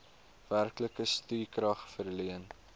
werklike stukrag verleen